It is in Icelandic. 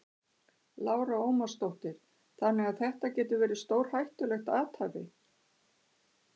Lára Ómarsdóttir: Þannig að þetta getur verið stórhættulegt athæfi?